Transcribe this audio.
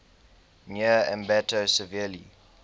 near ambato severely